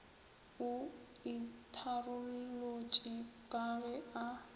o itharolotše ka ge a